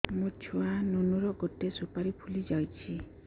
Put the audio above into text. ମୋ ଛୁଆ ନୁନୁ ର ଗଟେ ସୁପାରୀ ଫୁଲି ଯାଇଛି